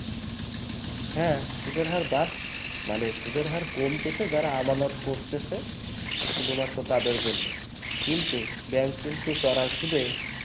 হ্যাঁ সুদের হার বার মানে সুদের হার কমেছে যারা আমানত করতেছে শুধুমাত্র তাদের জন্য কিন্তু bank কিন্তু bank কিন্তু চড়া সুদে